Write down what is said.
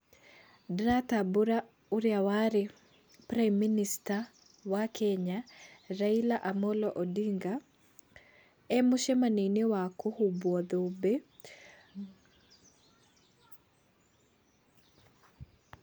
Ndĩratambũra ũrĩa warĩ Prime Minister wa Kenya, Raila Amolo Ondinga, emũcamanio-inĩ wa kũhumbuo thũmbĩ.